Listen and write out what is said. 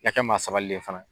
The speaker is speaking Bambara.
I ka kɛ maa sabalilen ye fana.